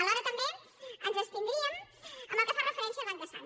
alhora també ens abstindríem en el que fa referència al banc de sang